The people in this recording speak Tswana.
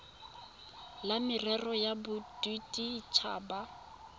la merero ya bodit habat